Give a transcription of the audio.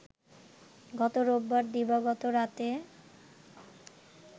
গত রোববার দিবাগত রাতে